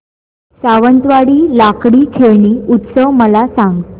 सावंतवाडी लाकडी खेळणी उत्सव मला सांग